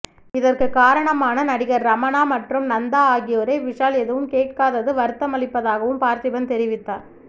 இதற்கு காரணமான நடிகர் ரமணா மற்றும் நந்தா ஆகியோரை விஷால் எதுவும் கேட்காதது வருத்தமளிப்பதாகவும் பார்த்திபன் தெரிவித்தார்